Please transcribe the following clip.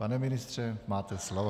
Pane ministře, máte slovo.